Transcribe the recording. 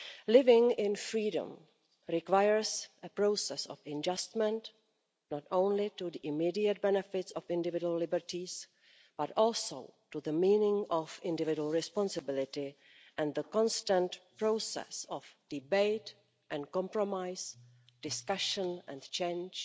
Living in freedom requires a process of adjustment, not only to the immediate benefits of individual liberties, but also to the meaning of individual responsibility and the constant process of debate and compromise, discussion and change